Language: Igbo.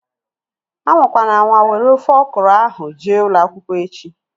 Anwakwana anwa were ofe ọkụrụ ahu jee ụlọakwụkwọ echi!